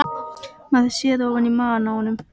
Maður sér ofan í maga á honum